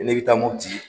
Ne bɛ taa moti